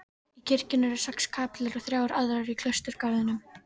Í kirkjunni eru sex kapellur og þrjár aðrar í klausturgarðinum.